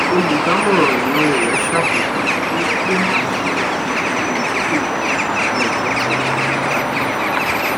olùdámọràn ináwó rẹ ṣàbẹwò pé kí o máa ṣe àwọn ipinnu ìdókòwò pàtàkì ní ọjọ tí ọjà bá dáa jùlọ